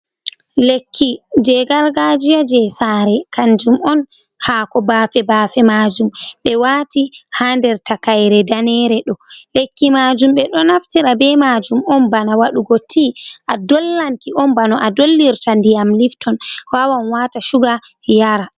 Lekki je gargajiya je sare kanjum on haako bafe-bafe majum, ɓe wati ha nder takayre danere ɗo. Lekki majum ɓeɗo naftira be majum on bana waɗugo tea a'dollanki on bana a dollirta ndiyam lifton wawan wata suga yara.